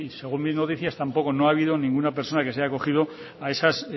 según mis noticias tampoco no ha habido ninguna persona que se haya acogido a esas